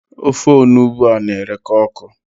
Ofe onugbu a na-ereka ọkụ.